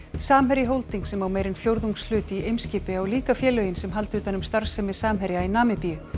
samherji Holding sem á meira en fjórðungshlut í Eimskipi á líka félögin sem halda utan um starfsemi Samherja í Namibíu